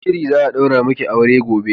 Yi shiri, za'a ɗaura maki aure gobe.